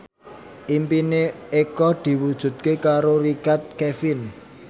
impine Eko diwujudke karo Richard Kevin